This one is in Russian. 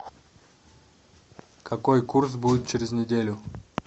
какой курс будет через неделю